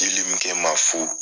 ma fu.